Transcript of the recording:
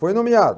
Foi nomeado.